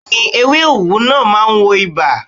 Bẹ́ẹ̀ni. Ewé òwú náà ma ń wo ibà.